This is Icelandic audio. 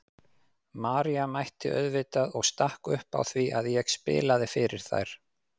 María mætti auðvitað og stakk upp á því að ég spilaði fyrir þær.